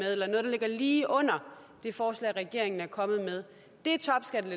ligger lige under det forslag regeringen er kommet med